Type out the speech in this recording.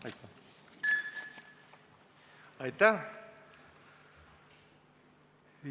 Aitäh!